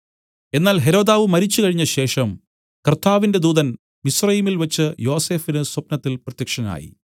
എന്നാൽ ഹെരോദാവ് മരിച്ചു കഴിഞ്ഞശേഷം കർത്താവിന്റെ ദൂതൻ മിസ്രയീമിൽ വെച്ച് യോസഫിന് സ്വപ്നത്തിൽ പ്രത്യക്ഷനായി